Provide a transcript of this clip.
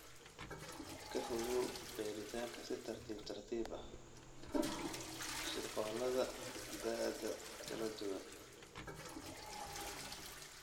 Ka fogow beeritaanka si tartiib tartiib ah (shirqoollada da'aha kala duwan).